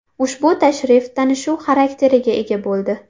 Ushbu tashrif tanishuv xarakteriga ega bo‘ldi.